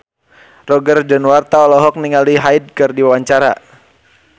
Roger Danuarta olohok ningali Hyde keur diwawancara